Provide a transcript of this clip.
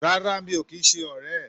Rárá, mi ò kì í ṣe ọ̀rẹ́